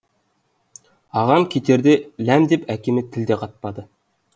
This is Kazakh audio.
ағам кетерде ләм деп әкеме тіл де қатпады